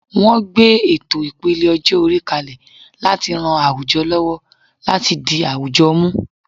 Wọ́n gbé ètò ìpele ọjọ́-orí kalẹ̀ láti ran àwùjọ lọ́wọ́ láti di àwùjọ mú.